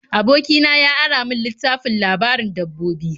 Aboki na ya ara min littafin labarin dabbobi.